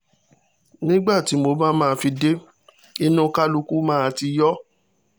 nígbà tí mo bá máa fi dé inú kálukú máa ti yọ